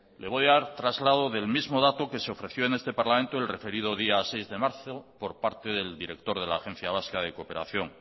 le voy a dar traslado del mismo dato que se ofreció en este parlamento el referido día seis de marzo por parte del director de la agencia vasca de cooperación